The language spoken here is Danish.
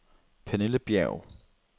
Pernille Bjerg